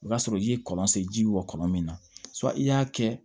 O y'a sɔrɔ i ye kɔlɔn sen ji bɔ kɔnɔ min na i y'a kɛ